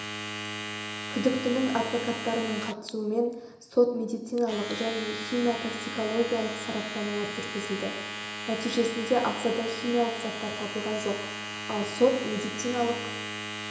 күдіктінің адвокаттарының қатысуымен сот-медициналық және химия-токсикологиялық сараптамалар жүргізілді нәтижесінде ағзада химиялық заттар табылған жоқ ал сот-медициналық